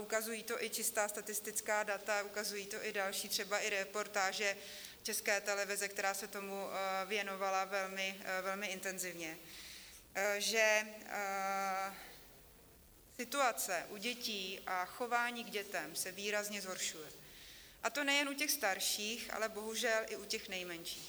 Ukazují to i čistá statistická data, ukazují to i další třeba i reportáže České televize, která se tomu věnovala velmi intenzivně, že situace u dětí a chování k dětem se výrazně zhoršuje, a to nejen u těch starších, ale bohužel i u těch nejmenších.